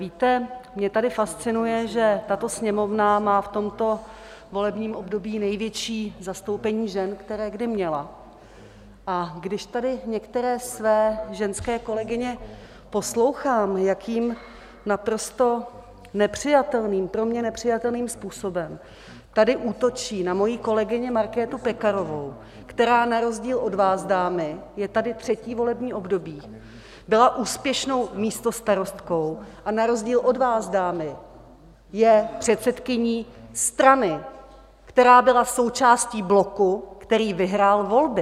Víte, mě tady fascinuje, že tato Sněmovna má v tomto volebním období největší zastoupení žen, které kdy měla, a když tady některé své ženské kolegyně poslouchám, jakým naprosto nepřijatelným, pro mě nepřijatelným způsobem tady útočí na moji kolegyni Markétu Pekarovou, která na rozdíl od vás, dámy, je tady třetí volební období, byla úspěšnou místostarostkou a na rozdíl od vás, dámy, je předsedkyní strany, která byla součástí bloku, který vyhrál volby!